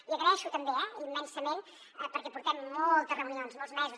i agraeixo també eh immensament perquè portem moltes reunions molts mesos